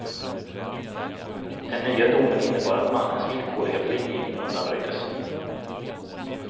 Den nya domen innebar att mannens villkorliga frigivning undanröjdes.